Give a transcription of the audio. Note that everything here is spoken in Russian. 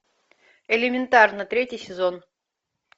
элементарно третий сезон